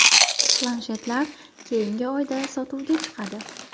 Planshetlar keyingi oyda sotuvga chiqadi.